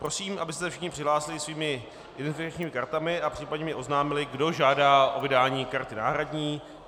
Prosím, abyste se všichni přihlásili svými identifikačními kartami a případně mi oznámili, kdo žádá o vydání karty náhradní.